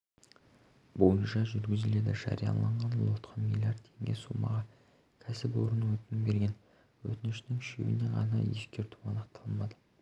бойынша жүргізіледі жарияланған лотқа млрд теңге сомаға кәсіпорын өтінім берген өтініштің үшеуінен ғана ескерту анықталмады